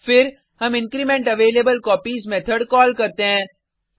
फिर हम increment available copies method call करते हैं